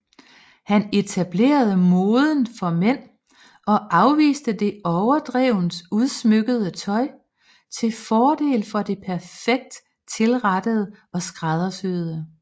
Han etablerede moden for mænd og afviste det overdrevent udsmykkede tøj til fordel for det perfekt tilrettede og skræddersyede